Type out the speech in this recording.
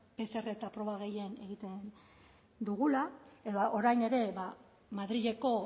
pcr proba gehien egiten dugula edo orain ere madrileko